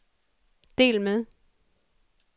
del med